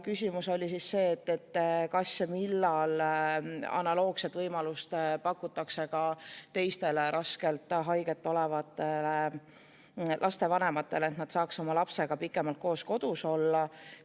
Küsimus oli siis see, kas ja millal pakutakse analoogset võimalust ka teistele raskelt haige olevate laste vanematele, et nad saaks oma lapsega pikemalt koos kodus olla.